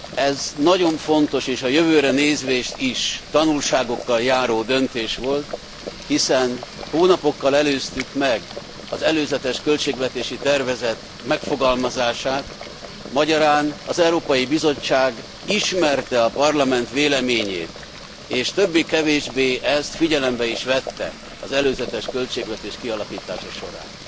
Ez nagyon fontos, és a jövőre nézve is tanulságokkal járó döntés volt, hiszen hónapokkal előztük meg az előzetes költségvetési tervezet megfogalmazását, magyarán az Európai Bizottság ismerte a Parlament véleményét, és többé kevésbé ezt figyelembe is vette az előzetes költségvetés kialakítása során.